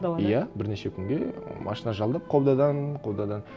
далада иә бірнеше күнге машина жалдап қолдайдан қолдайдан